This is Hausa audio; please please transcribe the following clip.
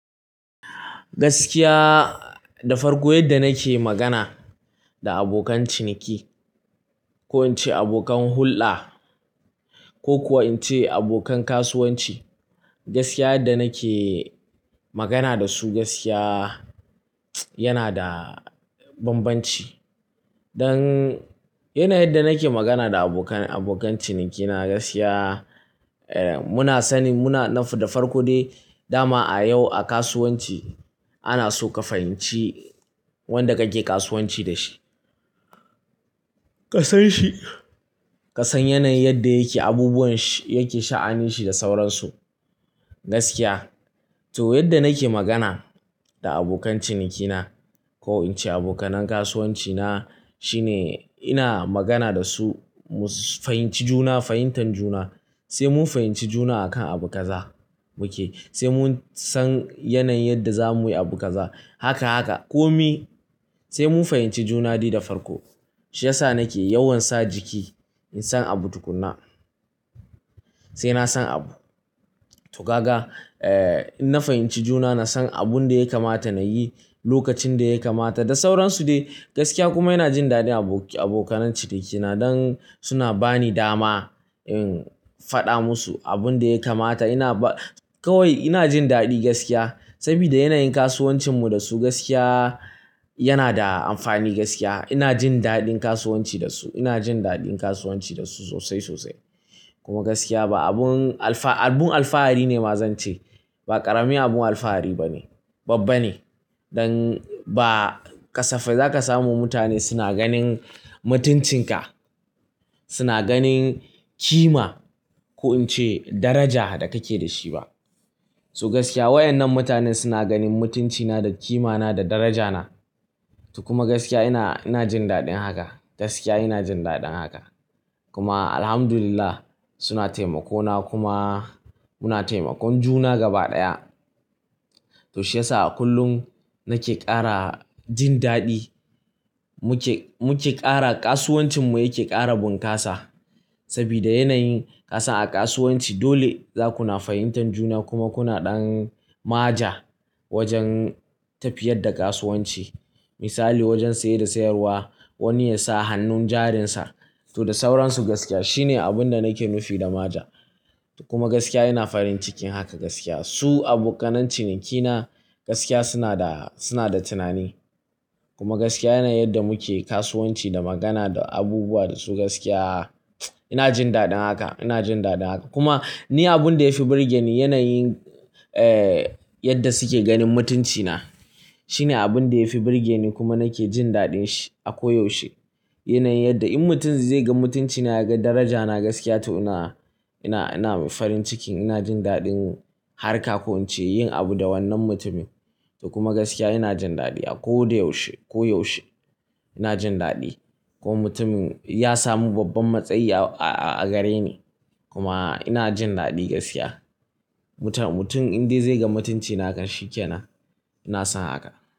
Gaskiya, da farko yadda nake magana da abokan ciniki ko in ce abokan hulɗa ko kuwa in ce abokan kasuwanci, gaskiya yadda nake magana da su, gaskiya yana da bambanci. Don yanayin da nake magana da abokan ciniki na, gaskiya muna sanin muna da farko dai. Dama a yau a kasuwanci ana so ka fahimci wanda kake kasuwanci da shi. Kasan shi, ka san yanayin yadda yake, abubuwan yake, sha'anin shi da sauransu. Gaskiya, to yadda nake magana da abokan cinikina ko in ce abokan kasuwanci na shine ina magana da su mu fahimci juna, fahimtar juna. Sai mun fahimci juna akan abu kaza muke, sai mun san yanayin yadda za mu yi abu kaza. Haka haka. Komi sai mun fahimci juna dai da farko. Shi yasa nake yawan sa jiki in san abu tukuna. Sai na san abu. To kaga, in na fahimci juna na san abin da ya kamata na yi lokacin da ya kamata da sauransu dai. Gaskiya kuma ina jin daɗin abokan cinikina don suna ba ni dama in faɗa musu abin da ya kamata. Kawai ina jin daɗi gaskiya. Saboda yanayin kasuwancin mu da su, gaskiya yana da amfani gaskiya. Ina jin daɗin kasuwanci da su. Ina jin daɗin kasuwanci da su sosai sosai. Kuma gaskiya ba abun alfahari ne ma zan ce, ba ƙarami abun alfahari ba ne, babba ne. Don ba kasafai za ka samu mutane suna ganin mutuncin ka, suna ganin kima ko in ce daraja da kake da shi ba. To gaskiya wa'annan mutanen suna ganin mutunci na da kimana da daraja na. To kuma gaskiya ina jin daɗin haka. Gaskiya ina jin daɗin haka. Kuma Alhamdulillah suna taimako na kuma muna taimakon juna gaba ɗaya. To shi yasa a kullum nake ƙara jin daɗi. Muke ƙara, kasuwancin mu yake ƙara bunƙasa. Saboda yanayin kasan a kasuwanci dole za kuna fahimtar juna kuma kuna ɗan ma ja wajen tafiyar da kasuwanci. Misali wajen saye da sayarwa wani ya sa hannun jarinsa to da sauransu. Gaskiya shine abin da nake nufi da ma ja. Kuma gaskiya ina farin cikin haka gaskiya. Su abokan ciniki na gaskiya suna da tunani. Kuma gaskiya yanayin yadda muke kasuwanci da magana da abubuwa da su gaskiya ina jin daɗin haka, ina jin daɗin haka. Kuma ni abin da ya fi burge ni yanayin yadda suke ganin mutunci na shine abin da ya fi burge ni kuma nake jin daɗin shi a koyaushe. Yanayin yadda in mutum zai ga mutunci na, ya ga daraja na gaskiya to ina farin cikin, ina jin daɗin harka ko in ce yin abu da wannan mutumin. To kuma gaskiya ina jin daɗi a koyaushe ko yaushe ina jin daɗi. Ko mutum ya samu babban matsayi a gare ni kuma ina jin daɗi gaskiya. Mutum indai zai ga mutunci na kan shi ke nan, ina son haka.